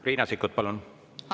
Riina Sikkut, palun!